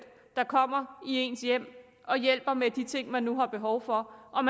der kommer i ens hjem og hjælper med de ting man nu har behov for og